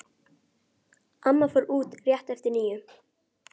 Kristján: Eru menn ekki hræddir að koma svona nærri?